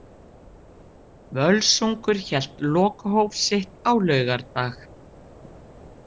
Völsungur hélt lokahóf sitt á laugardag.